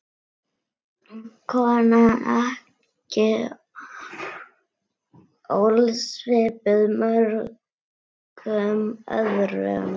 Kona ekki ósvipuð mörgum öðrum.